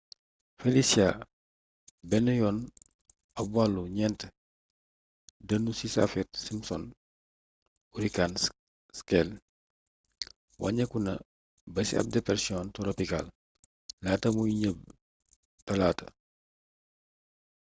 felicia benn yoon ab wàllu 4 dënnu ci saffir-simpson hurricane scale wàññeeku na ba ci ab depersiyon toropikaal laata muy nëbb talaata